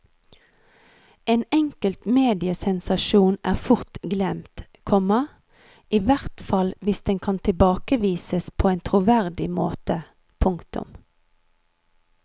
En enkelt mediesensasjon er fort glemt, komma ihvertfall hvis den kan tilbakevises på en troverdig måte. punktum